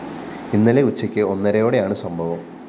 ഇന്നലെ ഉച്ചക്ക്‌ ഒന്നരയോടെയാണ്‌ സംഭവം